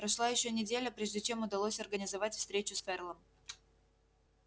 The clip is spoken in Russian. прошла ещё неделя прежде чем удалось организовать встречу с ферлом